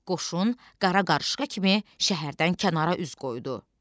Qoşun qara qarışqa kimi şəhərdən kənara üz qoydu.